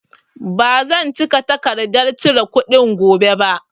Ba zan cika takardan cire kuɗi gobe ba